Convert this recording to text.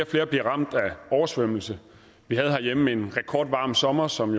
flere bliver ramt af oversvømmelse vi havde herhjemme en rekordvarm sommer som